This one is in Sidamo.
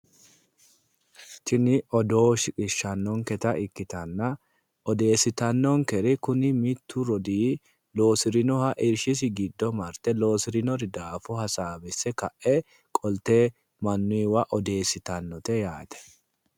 Tini odoo shiqishshannonketa ikkitanna, odeessitannokeri kuni mittu rodii loosirinoha irshisi giddo marte loositinori daafo hasaawisse kae qolte mannuyiwa odeessitannite yaate.